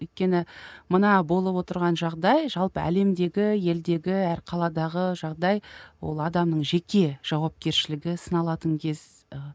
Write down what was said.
өйткені мына болып отырған жағдай жалпы әлемдегі елдегі әр қаладағы жағдай ол адамның жеке жауапкершілігі сыналатын кез ы